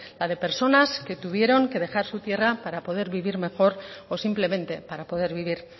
la de personas que tuvieron que dejar su tierra para poder vivir mejor o simplemente para poder vivir